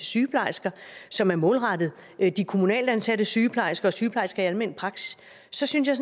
sygeplejersker som er målrettet de kommunalt ansatte sygeplejersker og sygeplejersker i almen praksis så synes jeg